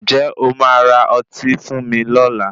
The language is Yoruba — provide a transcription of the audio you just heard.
Ǹjẹ̀ o máa ra ọtí fún mi lọla?